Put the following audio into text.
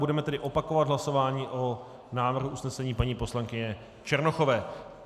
Budeme tedy opakovat hlasování o návrhu usnesení paní poslankyně Černochové.